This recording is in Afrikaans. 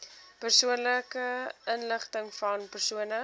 persoonlike inligtingvan persone